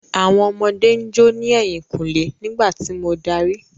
Àwọn ọmọdé ń jó ní ẹ̀yìnkùlé nígbà tí mo darí.